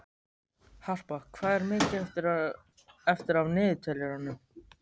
Harpa, hvað er mikið eftir af niðurteljaranum?